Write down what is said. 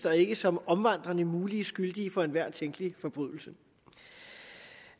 og ikke som om omvandrende mulige skyldige for enhver tænkelig forbrydelse